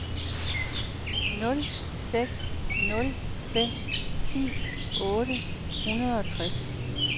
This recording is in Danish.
nul seks nul fem ti otte hundrede og tres